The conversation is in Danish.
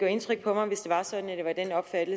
det er det